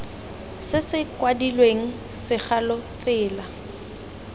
se se kwadilweng segalo tsela